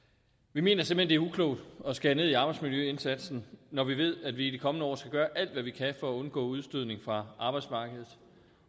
vi mener simpelt er uklogt at skære ned i arbejdsmiljøindsatsen når vi ved at vi i de kommende år skal gøre alt hvad vi kan for at undgå udstødning fra arbejdsmarkedet